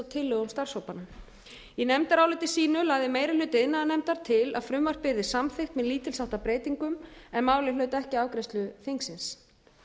tillögum starfshópa í nefndaráliti sínu lagði meiri hluti iðnaðarnefndar til að frumvarpið yrði samþykkt með lítils háttar breytingum en málið hlaut ekki afgreiðslu þingsins